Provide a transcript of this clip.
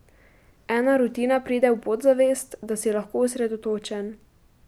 Ena rutina pride v podzavest, da si lahko osredotočen.